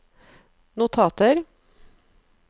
notater